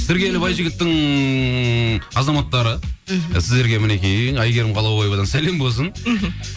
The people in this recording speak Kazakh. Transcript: сыркелі байжігіттің азаматтары мхм сіздерге мінекей әйгерім қалаубаевадан сәлем болсын мхм